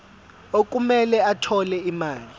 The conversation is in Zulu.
okumele athole imali